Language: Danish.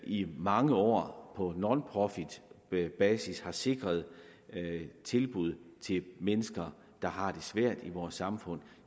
i mange år på nonprofit basis har sikret tilbud til mennesker der har det svært i vores samfund